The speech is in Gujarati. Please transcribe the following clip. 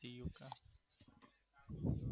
હમ